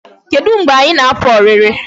Kedu mgbe anyị na-apụ ọrịrị?